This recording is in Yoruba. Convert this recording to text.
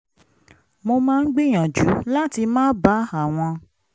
mo máa ń gbìyànjú láti má bá àwọn